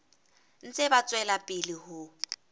ntse ba tswela pele ho